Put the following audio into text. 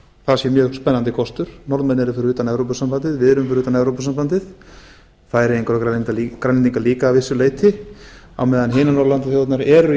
það sé mjög spennandi kostur norðmenn eru fyrir utan evrópusambandið við erum fyrir utan evrópusambandið færeyingar og grænlendingar líka að vissu leyti á meðan hinar norðurlandaþjóðirnar eru